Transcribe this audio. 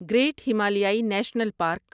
great ہمالیائی national park